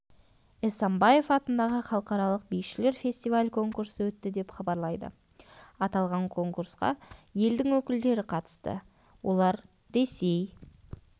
эсамбаев атындағы халықаралық бишілер фестиваль-конкурсы өтті деп хабарлайды аталған конкурсқа елдің өкілдері қатысты олар ресей